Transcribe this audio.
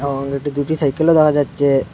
এবং এটি দুটি সাইকেলও দেখা যাচ্ছে।